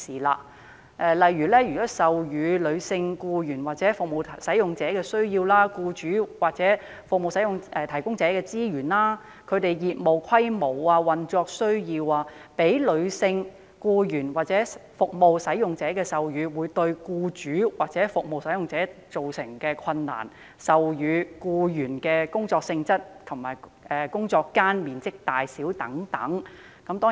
例如，授乳僱員或服務使用者的需要；僱主或服務提供者的資源、業務規模、運作需要；讓女性僱員或服務使用者授乳對僱主或服務提供者造成的困難，以及授乳僱員的工作性質及工作間面積大小等。